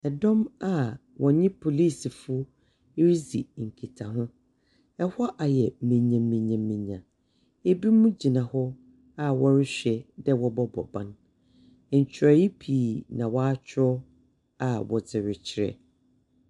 Dɔm a wɔnye policefo redzi nkitaho. Ɛhɔ ayɛ menyamenyamenya. Ebinom gyina hɔ a wɔrehwɛ a wɔbɔbɔ ban. Nkyerwee pii na wɔakyerɛw a wɔdze rekyerɛ.